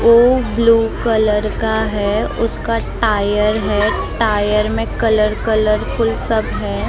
उ blue colour का है उसका टायर है टायर में कलर कलरफुल सब है।